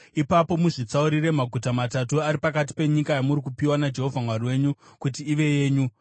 ipapo muzvitsaurire maguta matatu ari pakati penyika yamuri kupiwa naJehovha Mwari wenyu kuti ive yenyu.